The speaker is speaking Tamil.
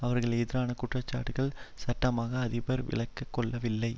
அவர்களுக்கு எதிரான குற்றச்சாட்டுக்களை சட்டமா அதிபர் விலக்கி கொள்ளவில்லை